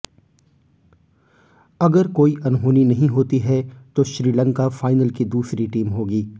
अगर कोई अनहोनी नहीं होती है तो श्रीलंका फाइनल की दूसरी टीम होगी